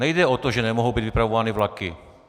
Nejde o to, že nemohou být vypravovány vlaky.